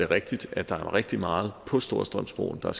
rigtigt at der er rigtig meget på storstrømsbroen og